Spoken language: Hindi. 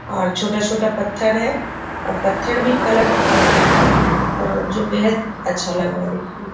और छोटा-छोटा पत्थर है और पत्थर भी कलरफुल है और जो बेहद अच्छा लग रहा है देखने में।